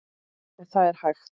En er það hægt?